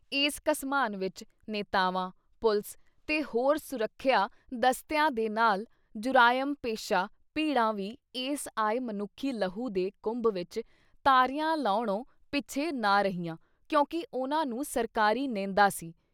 ਇਸ ਘਸਮਾਨ ਵਿੱਚ ਨੇਤਾਵਾਂ, ਪੁਲਿਸ ਤੇ ਹੋਰ ਸੁਰੱਖਿਆ ਦਸਤਿਆਂ ਦੇ ਨਾਲ ਜੁਰਾਇਮ ਪੇਸ਼ਾ ਭੀੜਾ ਵੀ ਇਸ ਆਏ ਮਨੁੱਖੀ ਲਹੂ ਦੇ ਕੁੰਭ ਵਿੱਚ ਤਾਰੀਆਂ ਲਾਉਣੋ ਪਿੱਛੇ ਨਾ ਰਹੀਆਂ ਕਿਉਂਕਿ ਉਨ੍ਹਾਂ ਨੂੰ ਸਰਕਾਰੀ ਨੇਂਦਾ ਸੀ।